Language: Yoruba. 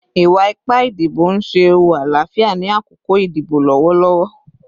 Iwa-ipa idibo n ṣe ewu alaafia ni akoko idibo lọwọlọwọ